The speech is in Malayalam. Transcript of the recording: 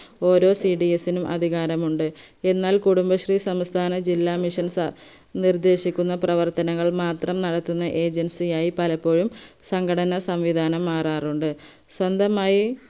ഓരോ cds നും അധികാരമുണ്ട് എന്നാൽ കുടുബശ്രീ സംസ്ഥാന ജില്ലാ missions നിർദേശിക്കുന്ന പ്രവർത്തനങ്ങൾ മാത്രം നടത്തുന്ന agency യായി പലപ്പോഴും സംഘടന സംവിദാനം മാറാറുണ്ട് സൊന്തമായി